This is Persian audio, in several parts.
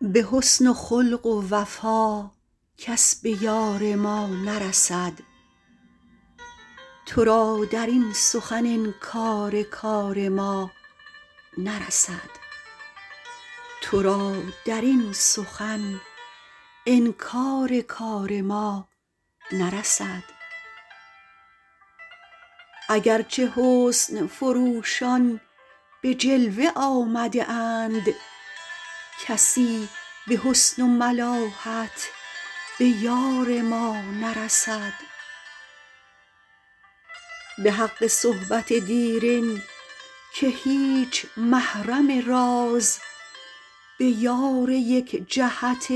به حسن و خلق و وفا کس به یار ما نرسد تو را در این سخن انکار کار ما نرسد اگر چه حسن فروشان به جلوه آمده اند کسی به حسن و ملاحت به یار ما نرسد به حق صحبت دیرین که هیچ محرم راز به یار یک جهت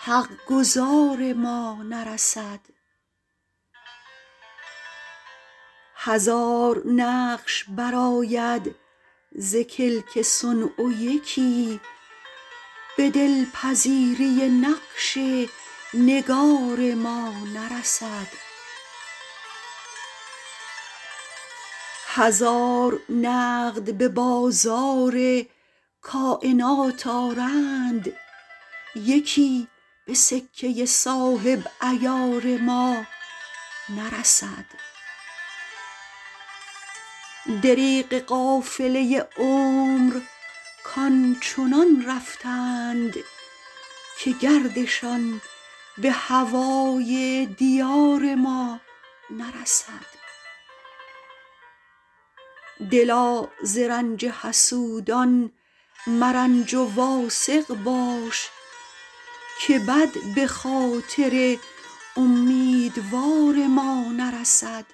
حق گزار ما نرسد هزار نقش برآید ز کلک صنع و یکی به دل پذیری نقش نگار ما نرسد هزار نقد به بازار کاینات آرند یکی به سکه صاحب عیار ما نرسد دریغ قافله عمر کآن چنان رفتند که گردشان به هوای دیار ما نرسد دلا ز رنج حسودان مرنج و واثق باش که بد به خاطر امیدوار ما نرسد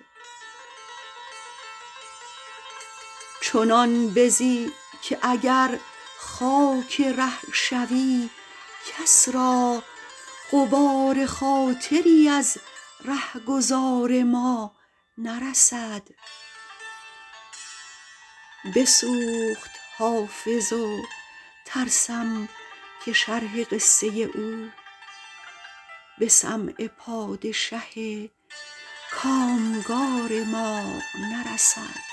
چنان بزی که اگر خاک ره شوی کس را غبار خاطری از ره گذار ما نرسد بسوخت حافظ و ترسم که شرح قصه او به سمع پادشه کام گار ما نرسد